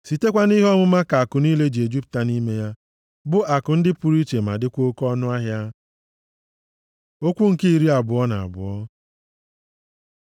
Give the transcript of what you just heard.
Sitekwa nʼihe ọmụma ka akụ niile ji ejupụta nʼime ya, bụ akụ ndị pụrụ iche ma dịkwa oke ọnụahịa. Okwu nke iri abụọ na abụọ